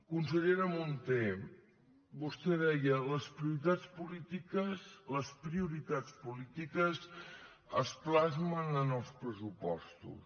consellera munté vostè deia les prioritats polítiques les prioritats polítiques es plasmen en els pressupostos